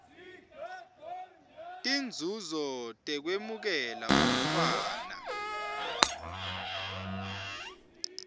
tinzuzo tekwemukela umntfwana